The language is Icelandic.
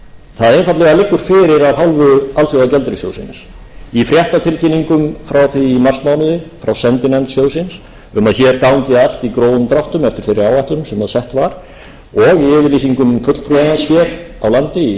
það einfaldlega liggur fyrir af hálfu alþjóðagjaldeyrissjóðsins í fréttatilkynningum frá því í marsmánuði frá sendinefnd sjóðsins um að hér gangi allt í grófum dráttum eftir þeirri áætlun sem sett var og í yfirlýsingum fulltrúans hér á landi í